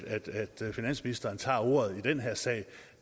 finansministeren tog ordet i den her sag